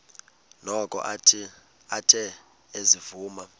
noko athe ezivuma